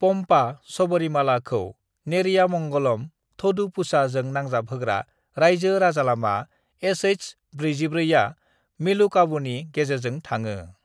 पम्पा (सबरीमाला) खौ नेरियामंगलम (थोडुपुझा) जों नांजाब होग्रा रायजो राजालामा एसएच-44 आ मेलुकावुनि गेजेरजों थाङो।